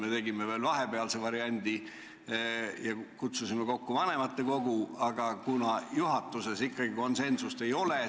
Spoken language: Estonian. Me tegime veel vahepealse variandi ja kutsusime kokku vanematekogu, aga juhatuses ikkagi konsensust ei saavutatud.